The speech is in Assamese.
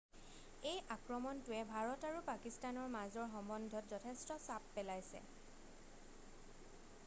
এই আক্ৰমণটোৱে ভাৰত আৰু পাকিস্তানৰ মাজৰ সম্বন্ধত যথেষ্ট চাপ পেলাইছে